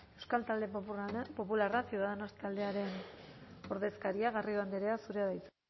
euskal talde popularra ciudadanos taldearen ordezkaria garrido andrea zurea da hitza